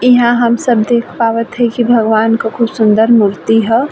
इहा हम सब देख पावत है की भगवन को खूब सुन्दर मूर्ति हय।